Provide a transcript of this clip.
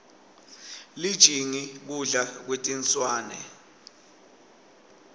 lijingi kudla kwetinswane